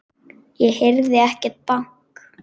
Ég heyrði ekkert bank.